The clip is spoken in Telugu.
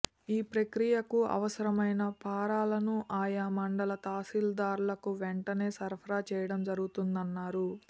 ఈ ప్రక్రియకు అవసరమైన ఫారాలను ఆయా మండల తహాశీల్దార్లకు వెంటనే సరఫరా చేయడం జరుగుతుందన్నారు